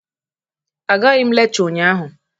Agaghị m lekchọ ụnyaahụ.